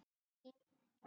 Til þín